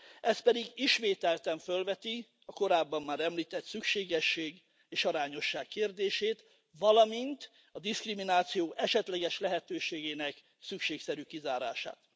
Ez pedig ismételten fölveti a korábban már említett szükségesség és arányosság kérdését, valamint a diszkrimináció esetleges lehetőségének szükségszerű kizárását.